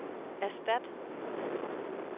erstat